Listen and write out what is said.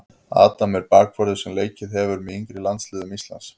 Adam er bakvörður sem leikið hefur með yngri landsliðum Íslands.